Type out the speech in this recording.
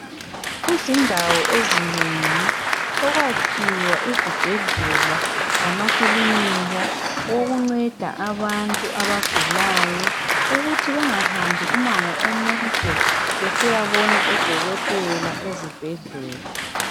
Kuzindawo ezinengi sekwakhiwe izibhedlela lamakilinika okunceda abantu abagulayo ukuthi bengahambi umango omude besiyabona odokotela ezibhedlela.